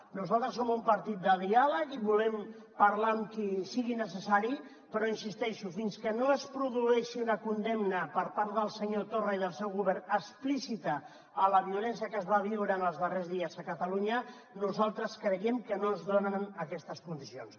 nosaltres som un partit de diàleg i volem parlar amb qui sigui necessari però hi insisteixo fins que no es produeixi una condemna per part del senyor torra i del seu govern explícita a la violència que es va viure en els darrers dies a catalunya nosaltres creiem que no es donen aquestes condicions